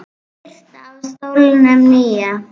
Birta: Á stólnum nýja?